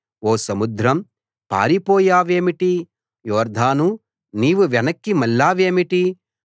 ఓ సముద్రం పారిపోయావేమిటి యొర్దానూ నీవు వెనక్కి మళ్లావేమిటి